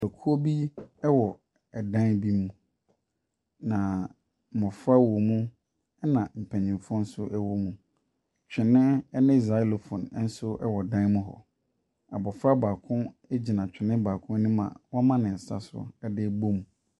Ekuo bi wɔ ɛdan bi mu. Na mmofra wɔ mu. Ɛna mpanimfoɔ nso wɔ mu. Twene ne zilophone nso wɔ dan mu hɔ. Abofra gyina twene baako anim a wama ne nsa so de rebɔ mu.